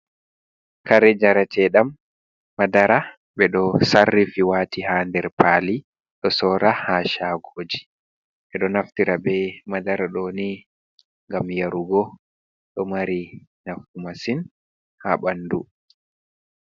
Kare njare teɗam, madara ɓe ɗo sarri fi wati ha nder pali ɗo sora ha shagoji, ɓeɗo naftira be madara doni ngam yarugo ɗo mari nafu masin ha ɓandu.